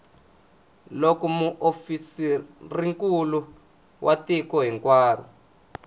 loko muofisirinkulu wa tiko hinkwaro